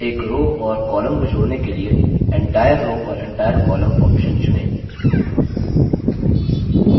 एक row और column को जोड़ने के लिए entire row और entire column option चुनें